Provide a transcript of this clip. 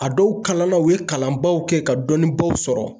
A dɔw kalan la , u ye kalanbaw kɛ ka dɔnnibaw sɔrɔ.